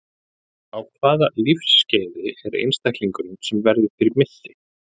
Á hvaða lífsskeiði er einstaklingurinn sem verður fyrir missi?